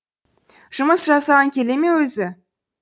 жұмыс жасағың келе ме өзі